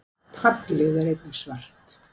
taglið er einnig svart